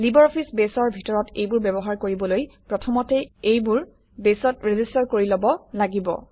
LibreOffice বেছৰ ভিতৰত এইবোৰ ব্যৱহাৰ কৰিবলৈ প্ৰথমতে এইবোৰ বেছত ৰেজিষ্টাৰ কৰি লব লাগিব